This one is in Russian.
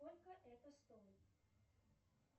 сколько это стоит